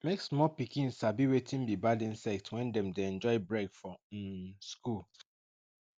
make small pikin sabi wetin be bad insect when dem dey enjoy break for um school